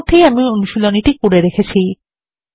ইতিমধ্যেই আমি অনুশীলনীটি করে রেখেছি